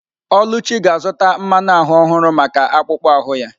Oluchi ga-azụta mmanu ahu ọhụrụ maka akpụkpọ ahụ ya.